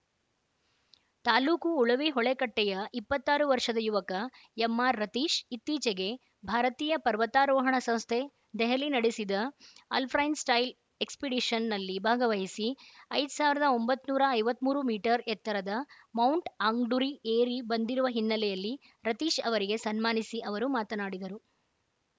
ತಾಲೂಕು ಉಳವಿ ಹೊಳೆಕಟ್ಟೆಯ ಇಪ್ಪತ್ತಾರು ವರ್ಷದ ಯುವಕ ಎಂಆರ್‌ರತೀಶ್ ಇತ್ತೀಚೆಗೆ ಭಾರತೀಯ ಪರ್ವತಾರೋಹಣ ಸಂಸ್ಥೆ ದೆಹಲಿ ನಡೆಸಿದ ಅಲ್‌ಫ್ರೈನ್‌ ಸ್ಟೈಲ್‌ ಎಕ್ಸ್‌ಪಿಡಿಷನ್‌ನಲ್ಲಿ ಭಾಗವಹಿಸಿ ಐದ್ ಸಾವಿರದ ಒಂಬತ್ ನೂರ ಐವತ್ತ್ ಮೂರು ಮೀಟರ್ ಎತ್ತರದ ಮೌಂಟ್‌ ಆಂಗ್ಡುರಿ ಏರಿ ಬಂದಿರುವ ಹಿನ್ನೆಲೆಯಲ್ಲಿ ರತೀಶ್‌ ಅವರಿಗೆ ಸನ್ಮಾನಿಸಿ ಅವರು ಮಾತನಾಡಿದರು